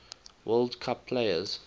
world cup players